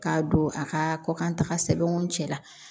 K'a don a ka kɔ kan taga sɛbɛnw cɛ la